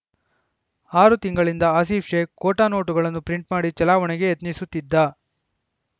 ಆರು ತಿಂಗಳಿಂದ ಆಸಿಫ್‌ ಶೇಖ್‌ ಖೋಟಾ ನೋಟುಗಳನ್ನು ಪ್ರಿಂಟ್‌ ಮಾಡಿ ಚಲಾವಣೆಗೆ ಯತ್ನಿಸುತ್ತಿದ್ದ